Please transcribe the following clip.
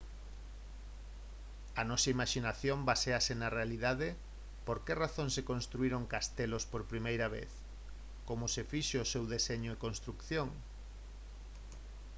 a nosa imaxinación baséase na realidade por que razón se construíron castelos por primeira vez como se fixo o seu deseño e construción